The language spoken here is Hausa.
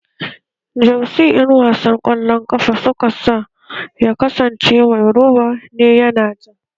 Jersi da ƴan wasan ƙwallon ƙafa suka sa ya kasance mai roba ne yana ja